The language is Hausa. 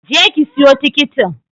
Je ki siyo tikitin!